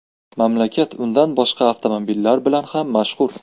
Mamlakat undan boshqa avtomobillar bilan ham mashhur.